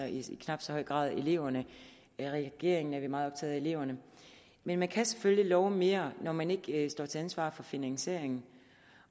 høj grad eleverne i regeringen er vi meget optaget af eleverne men man kan selvfølgelig love mere når man ikke står til ansvar for finansieringen